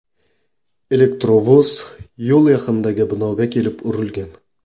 Elektrovoz yo‘l yaqinidagi binoga kelib urilgan.